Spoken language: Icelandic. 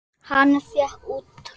Hann fékk út tromp.